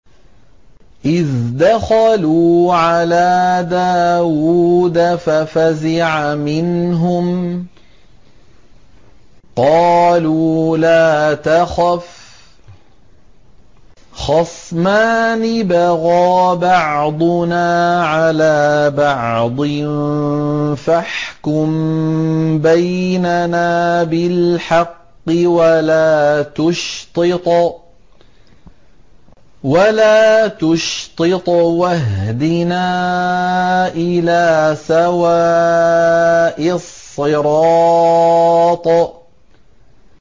إِذْ دَخَلُوا عَلَىٰ دَاوُودَ فَفَزِعَ مِنْهُمْ ۖ قَالُوا لَا تَخَفْ ۖ خَصْمَانِ بَغَىٰ بَعْضُنَا عَلَىٰ بَعْضٍ فَاحْكُم بَيْنَنَا بِالْحَقِّ وَلَا تُشْطِطْ وَاهْدِنَا إِلَىٰ سَوَاءِ الصِّرَاطِ